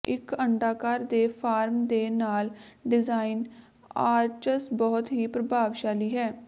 ਇੱਕ ਅੰਡਾਕਾਰ ਦੇ ਫਾਰਮ ਦੇ ਨਾਲ ਡਿਜ਼ਾਈਨ ਆਰਚਸ ਬਹੁਤ ਹੀ ਪ੍ਰਭਾਵਸ਼ਾਲੀ ਹੈ